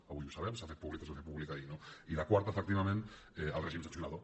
avui ho sabem s’ha fet públic es va fer públic ahir no i la quarta efectivament el règim sancionador